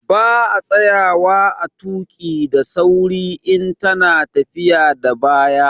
Ba a tsayawa a tuƙi daa sauri in ta na tafiya da baya